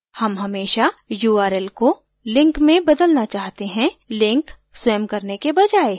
हम हमेशा url को link में बदलना चाहते हैं link स्वयं करने के बजाय